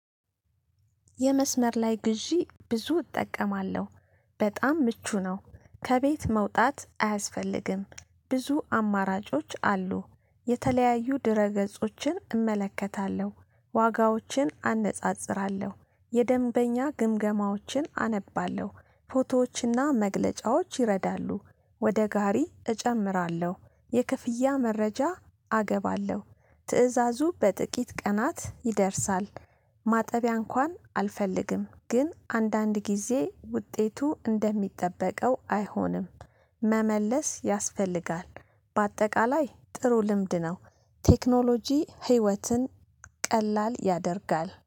የመስመር ላይ ግዢ ብዙ እጠቀማለሁ በጣም ምቹ ነው። ከቤት መውጣት አያስፈልግም ብዙ አማራጮች አሉ። የተለያዩ ድረገጾችን እመለከታለሁ ዋጋዎችን አነጻጽራለሁ የደንበኛ ግምገማዎችን አነባለሁ ፎቶዎችና መግለጫዎች ይረዳሉ ወደ ጋሪ እጨምራለሁ የክፍያ መረጃ አገባለሁ ትእዛዙ በጥቂት ቀናት ይደርሳል። ማጠቢያ እንኳን አልፈልግም ግን አንድ አንድ ጊዜ ውጤቱ እንደሚጠበቀው አይሆንም። መመለስ ያስፈልጋል። በአጠቃላይ ጥሩ ልምድ ነው። ቴክኖሎጂ ህይወትን ቀላል ያደርጋል